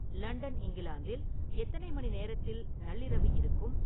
London இங்கிலாந்தில் எத்தனை மணி நேரத்தில் நள்ளிரவு இருக்கும்